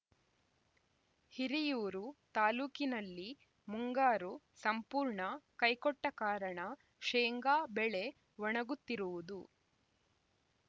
ಹಿರಿಯೂರು ತಾಲೂಕಿನಲ್ಲಿ ಮುಂಗಾರು ಸಂಪೂರ್ಣ ಕೈಕೊಟ್ಟಕಾರಣ ಶೇಂಗಾ ಬೆಳೆ ಒಣಗುತ್ತಿರುವುದು